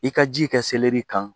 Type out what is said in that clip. I ka ji kɛ kan